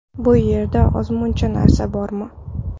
Bu yerda ozmuncha narsa bormi?